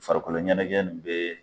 Farikoloɲɛnɛjɛ ni be